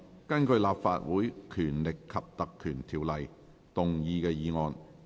根據《立法會條例》動議的議案。